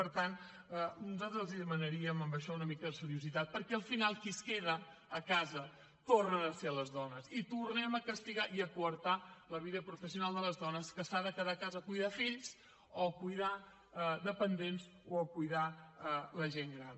per tant nosaltres els demanaríem amb això una mica de seriositat perquè al final qui es queda a casa tornen a ser les dones i tornem a castigar i a coartar la vida professional de les dones que s’han de quedar a casa a cuidar fills o a cuidar dependents o a cuidar la gent gran